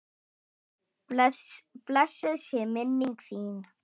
Blessuð sé minning þín!